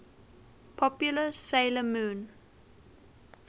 popular 'sailor moon